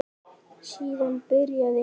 Síðan byrjaði